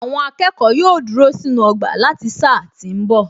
Àwọn akẹ́kọ̀ọ́ yóò dúró sínú ọgbà láti sáà tí ń bọ̀